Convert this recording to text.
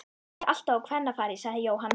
Þetta er alltaf á kvennafari sagði Jóhann.